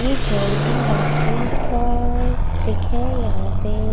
ये Johnson bathroom का pic हैं यहाँ पे --